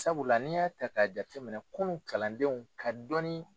Sabula n'i y'a ta k'a jate minɛ kunun kalandenw ka dɔni